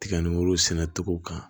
Tiga ni woro sɛnɛ togo kan